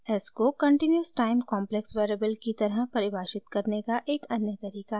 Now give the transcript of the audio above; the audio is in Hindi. s को continuous time complex variable की तरह परिभाषित करने का एक अन्य तरीका है